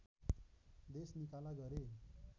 देश निकाला गरे